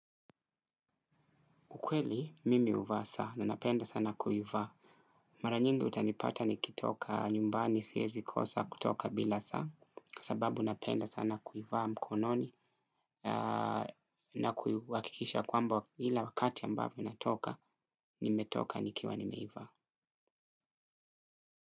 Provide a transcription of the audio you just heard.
Ukweli, mimi uvaa saa na napenda sana kuivaa. Mara nyingi utanipata nikitoka nyumbani siyezi kosa kutoka bila saa. Sababu napenda sana kuivaa mkononi na kuiwakikisha kwamba ila wakati ambavo natoka, nimetoka nikiwa nimeivaa.